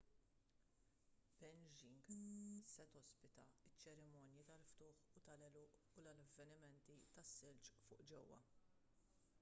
beijing se tospita ċ-ċerimonji tal-ftuħ u tal-għeluq u l-avvenimenti tas-silġ fuq ġewwa